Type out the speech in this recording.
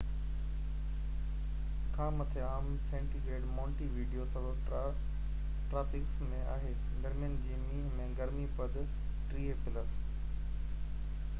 Monte video subtropics م آهي. گرمين جي مهينن ۾، گرمي پد +30°c کان مٿي عام آهي